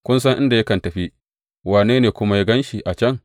Ku san inda yakan tafi, wane ne kuma ya gan shi a can.